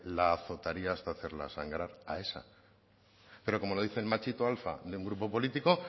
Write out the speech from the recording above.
la azotaría hasta hacerla sangrar a esa pero como lo dice el machito alfa de un grupo político